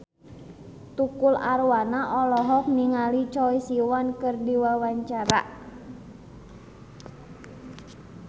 Tukul Arwana olohok ningali Choi Siwon keur diwawancara